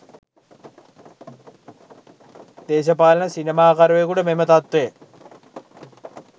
දේශපාලන සිනමාකරුවකුට මෙම තත්ත්වය